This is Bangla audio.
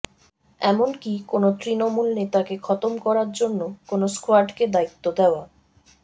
এমনকী কোন তৃণমূল নেতাকে খতম করার জন্য কোন স্কোয়াডকে দায়িত্ব দেওয়া